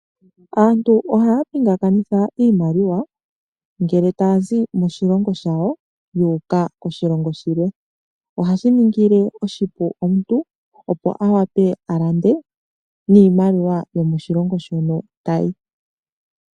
Aantu ohaya pingakanitha iimaliwa ngele taya zi moshilongo shawo yu uka koshilongo shilwe. Ohashi ningile omuntu oshipu, opo a wape a lande niimaliwa yomoshilongo shono ta yi.